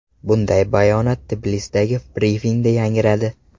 Bunday bayonot Tbilisidagi brifingda yangradi.